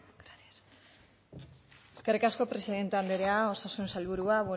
eskerrik asko presidenta andrea osasun sailburua